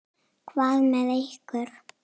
Hvað með ykkur?